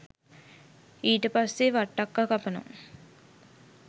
ඊට පස්සේ වට්ටක්කා කපනවා